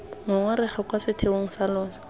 ngongorego kwa setheong sa lona